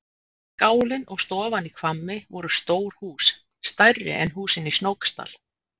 Skálinn og stofan í Hvammi voru stór hús, stærri en húsin í Snóksdal.